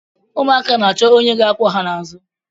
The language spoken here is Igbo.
Ụmụaka na-achọ onye ga-akwọ ha n’azụ